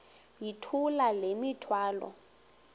yithula le mithwalo